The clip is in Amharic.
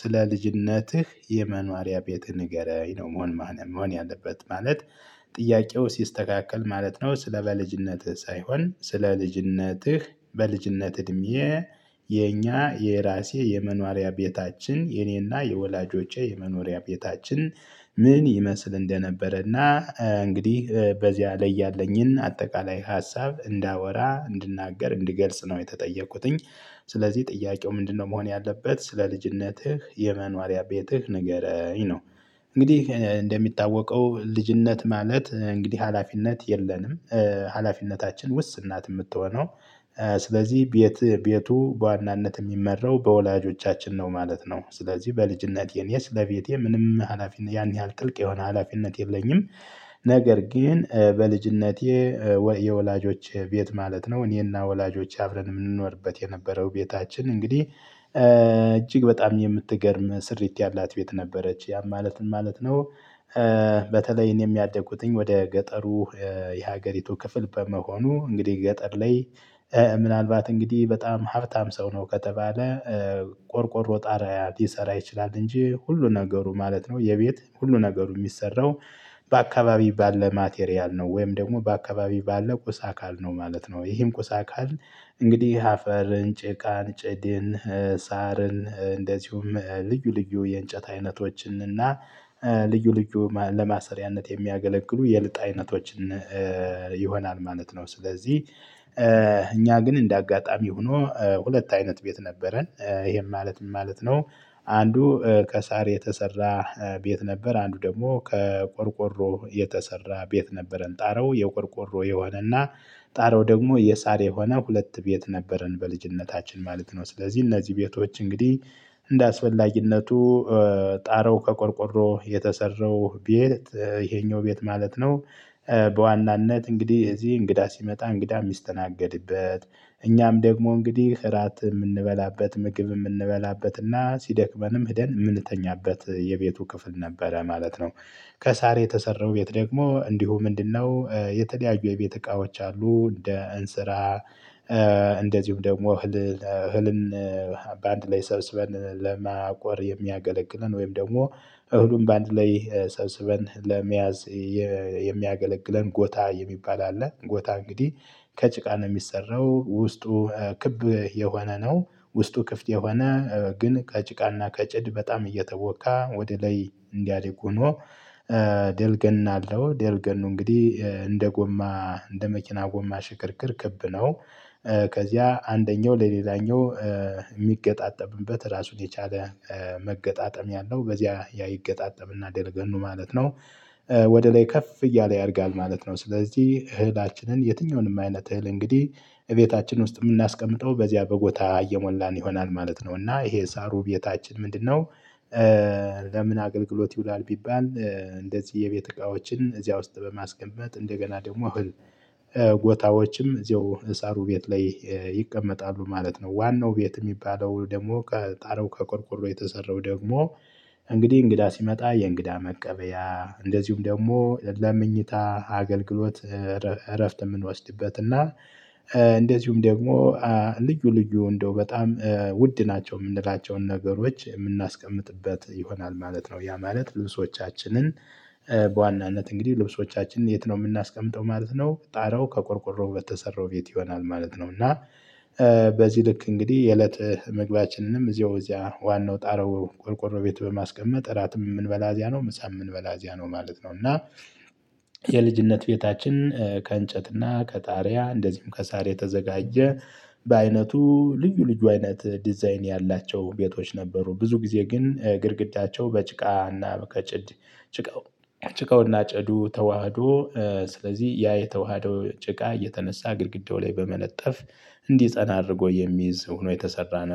ስለ ልጅነትህ የመኗሪያ ቤት ንገረኝ ነው መሆን መሆን ያለበት ማለት ጥያቄው ሲስተካከል ማለት ነው። ስለ በልጅነትህ ሳይሆን ስለ ልጅነትህ በልጅነት እድሜ የኛ የራሴ የመኖሪያ ቤታችን የኔና የወላጆቼ የመኖሪያ ቤታችን። ምን ይመስል እንደነበረ እና እንግዲህ በዚያ ላይ ያለኝን አጠቃላይ ሀሳብ እንዳወራ እንድናገር እንድገልጽ ነው የተጠየቁትኝ። ስለዚህ ጥያቄው ምንድነው? መሆን ያለበት ስለ ልጅነትህ የመኖሪያ ቤትህ ንገረኝ ነው። እንግዲህ እንደሚታወቀው ልጅነት ማለት እንግዲህ ሀላፊነት የለንም ሀላፊነታችን ውስን ናት የምትሆነው። ስለዚህ ቤት ቤቱ በዋናነት የሚመራው በወላጆቻችን ነው ማለት ነው። ስለዚህ በልጅነቴ እኔ ስለቤቴ ምንም ሀላፊነት ያን ያህል ጥልቅ የሆነ ሀላፊነት የለኝም። ነገር ግን በልጅነቴ ወይ የወላጆች ቤት ማለት ነው እኔና ወላጆች አብረን የምንኖርበት የነበረው ቤታችን እንግዲህ። እጅግ በጣም የምትገርም ስሪት ያላት ቤት ነበረች ያም ማለትን ማለት ነው። በተለይ እኔም ያደኩትኝ ወደ ገጠሩ የሀገሪቱ ክፍል በመሆኑ እንግዲህ ገጠር ላይ። ምናልባት እንግዲህ በጣም ሀብታም ሰው ነው ከተባለ። ቆርቆሮ ጣሪያ ሊሰራ ይችላል እንጂ ሁሉ ነገሩ ማለት ነው የቤት ሁሉ ነገሩ የሚሰራው። በአካባቢ ባለ ማቴሪያል ነው ወይም ደግሞ በአካባቢ ባለው ቁስ አካል ነው ማለት ነው። ይሄም ቁሳ አካል እንግዲህ አፈር ጭቃን ጭድን ሳርን እንደዚሁም ልዩ ልዩ የእንጨት አይነቶችን እና ልዩ ልዩ ለማሰሪያነት የሚያገለግሉ የልጥ አይነቶችን ይሆናል። ማለት ነው ስለዚህ እኛ ግን እንደ አጋጣሚ ሆኖ ሁለት አይነት ቤት ነበረን ይሄም ማለት ምን ማለት ነው? አንዱ ከሳር የተሰራ ቤት ነበር። አንዱ ደግሞ ከቆርቆሮ የተሰራ ቤት ነበረን ጣሪያው የቆርቆሮ የሆነና። ጣሪያው ደግሞ የሳር የሆነ ሁለት ቤት ነበረን በልጅነታችን ማለት ነው። ስለዚህ እነዚህ ቤቶች እንግዲህ እንደአስፈላጊነቱ ጣረው ከቆርቆሮ የተሰራው ቤት ይሄኛው ቤት ማለት ነው። በዋናነት እንግዲህ እዚህ እንግዳ ሲመጣ እንግዳ የሚስተናገድበት እኛም ደግሞ እንግዲህ እራት የምንበላበት ምግብ የምንበላበት እና ሲደክመንም ሄደን የምንተኛበት የቤቱ ክፍል ነበረ ማለት ነው። ከሳር የተሰራው ቤት ደግሞ እንዲሁ ምንድነው? የተለያዩ የቤት እቃዎች አሉ እንደ እንስራ። እንደዚሁም ደግሞ እህል እህልን በአንድ ላይ ሰብስበን ለማቆር የሚያገለግለን ወይም ደግሞ እህሉን በአንድ ላይ ሰብስበን ለመያዝ የሚያገለግለን ጎታ የሚባል አለ። ጎታ እንግዲህ ከጭቃ ነው የሚሰራው ውስጡ ክብ የሆነ ነው። ውስጡ ክፍት የሆነ ግን ከጭቃና ከጭድ በጣም እየተቦካ ወደ ላይ እንዲያደርግ ሆኖ። ደልገና አለው ደልገኑ እንግዲህ እንደ ጎማ እንደ መኪና ጎማ ሽክርክር ክብ ነው። ከዚያ አንደኛው ለሌላኛው የሚገጣጠምበት ራሱን የቻለ መገጣጠም ያለው በዚያ ያ ይገጣጠምና ደረገኑ ማለት ነው። ወደ ላይ ከፍ እያለ ያደርጋል ማለት ነው። ስለዚህ እህላችንን የትኛውንም አይነት እህል እንግዲህ እቤታችን ውስጥ የምናስቀምጠው በዚያ በጎታ እየሞላን ይሆናል ማለት ነው። እና ይሄ ሳሩ ቤታችን ምንድነው? ለምን አገልግሎት ይውላል? ቢባል እንደዚህ የቤት እቃዎችን እዚያ ውስጥ በማስቀመጥ እንደገና ደግሞ እህል ጎታዎችም እዚሁ አሳሩሩ ቤት ላይ ይቀመጣሉ ማለት ነው። ዋናው ቤት የሚባለው ደግሞ ጣሪያው ከቆርቆሮ የተሰረው ደግሞ እንግዲህ እንግዳ ሲመጣ የእንግዳ መቀበያ እንደዚሁም ደግሞ ለመኝታ አገልግሎት እረፍት የምንወስድበት እና እንደዚሁም ደግሞ ልዩ ልዩ እንደው በጣም ውድ ናቸው የምንላቸውን ነገሮች የምናስቀምጥበት ይሆናል ማለት ነው። ያ ማለት ልብሶቻችንን በዋናነት እንግዲህ ልብሶቻችንን የት ነው የምናስቀምጠው? ማለት ነው ጣረው ከቆርቆሮው በተሰራው ቤት ይሆናል ማለት ነው። እና በዚህ ልክ እንግዲህ የእለት ምግባያችንንም እዚያው እዚያ ዋናው ጣረው ቆርቆሮ ቤት በማስቀመጥ እራትም የምንበላ እዚያ ነው ምሳም የምንበላ እዚያ ነው ማለት ነው። እና የልጅነት ቤታችን ከእንጨት እና ከጣሪያ እንደዚሁም ከሳር የተዘጋጀ በአይነቱ ልዩ ልጁ አይነት ዲዛይን ያላቸው ቤቶች ነበሩ። ብዙ ጊዜ ግን ግድግዳቸው በጭቃና በ ከጭድ ጭቃው ጭቃውና ጭዱ ተዋህዶ ስለዚህ ያ የተዋህደው ጭቃ የተነሳ ግድግዳው ላይ በመለጠፍ እንዲፀና አድርጎ የሚይዝ ሆኖ የተሰራ ነው